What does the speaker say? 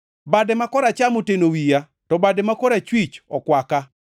Bade ma koracham oteno wiya to bade ma korachwich okwaka.